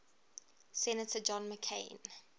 senator john mccain